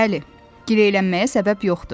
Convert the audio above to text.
Bəli, girəylənməyə səbəb yoxdur.